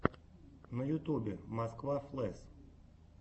на ютюбе москва флэс